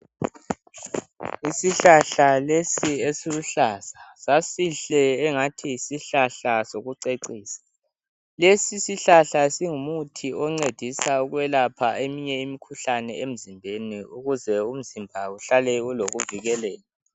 Isihlahla lesi esiluhlaza sasihle engathi yisihlahla sokucecisa lesi isihlahla singumuthi oncedisa ukwelapha eminye imikhuhlane emzimbeni ukuze uhlale ulokuvikeleka